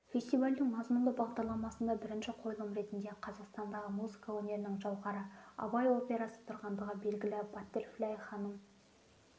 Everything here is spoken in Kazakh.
фестивальдің мазмұнды бағдарламасында бірінші қойылым ретінде қазақстандағы музыка өнерінің жауһары абай операсы тұрғандығы белгілі баттерфляй ханым